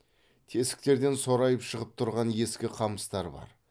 тесіктерден сорайып шығып тұрған ескі қамыстар бар